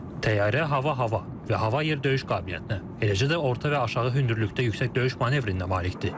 Təyyarə hava-hava və hava-yer döyüş qabiliyyətinə, eləcə də orta və aşağı hündürlükdə yüksək döyüş manevrinə malikdir.